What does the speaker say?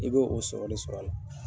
I bɛ' o sɔrɔli sɔrɔ a la.